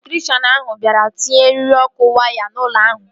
Elektrikshan ahụ bịara itinye eriri ọkụ waya n'ụlọ ahụ